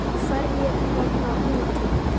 Hverjir verða úti?